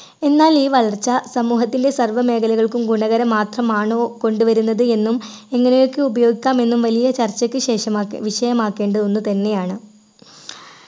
എന്നാൽ ഈ വളർച്ച സമൂഹത്തിലെ സർവ്വ മേഖലകൾക്കും ഗുണകരം മാത്രമാണോ കൊണ്ടുവരുന്നത് എന്നും എങ്ങനെയൊക്കെ ഉപയോഗിക്കാം എന്നും വലിയ ചർച്ചയ്ക്കുശേഷം മാക്കേ വിഷയമാക്കേണ്ട ഒന്ന് തന്നെയാണ്